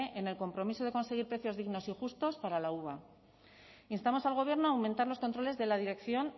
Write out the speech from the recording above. en el compromiso de conseguir precios dignos y justos para la uva instamos al gobierno a aumentar los controles de la dirección